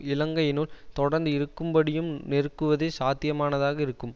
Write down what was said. இலங்கையினுள் தொடர்ந் இருக்கும்படியும் நெருக்குவதே சாத்தியமானதாக இருக்கும்